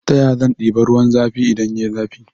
Ta yaya zan ɗiba ruwan zafi idan yayi zafi